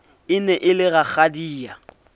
e ne e le rakgadia